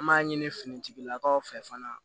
An b'a ɲini finitigilakaw fɛ fana